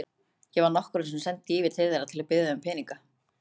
Ég var nokkrum sinnum send yfir til þeirra til að biðja þau um peninga.